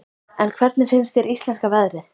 En hvernig finnst þér íslenska veðrið?